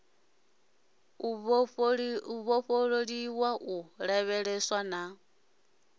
u ṱoliwa u lavheleswa na